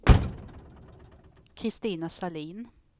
Christina Sahlin